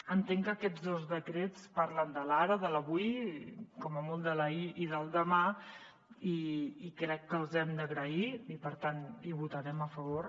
entenc que aquests dos decrets parlen de l’ara de l’avui com a molt de l’ahir i del demà i crec que els hem d’agrair i per tant hi votarem a favor